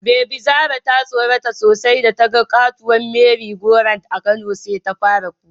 Bebi Zara ta tsorata sosai datagani katuwar "merry go round" a Kano, sai ta fara kuka.